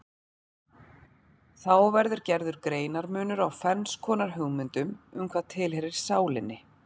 Þá verður gerður greinarmunur á ferns konar hugmyndum um hvað tilheyrir sálinni.